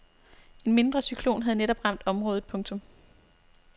En mindre cyklon havde netop ramt området. punktum